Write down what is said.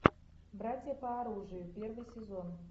братья по оружию первый сезон